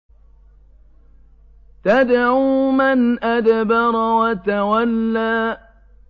تَدْعُو مَنْ أَدْبَرَ وَتَوَلَّىٰ